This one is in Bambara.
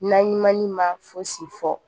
Naɲumani ma fosi fɔ